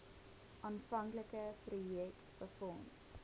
aanvanklike projek befonds